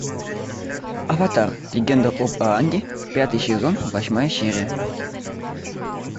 аватар легенда об аанге пятый сезон восьмая серия